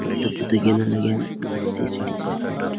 पत्ता पुत्ता गिन लग्यां यफुण अत्ति सीढ़ी छ यफुण।